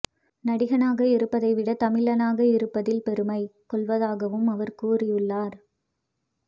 நடிகனாக இருப்பதை விட தமிழனாக இருப்பதில் பெருமை கொள்வதாகவும் அவர் கூறியுள்ளார்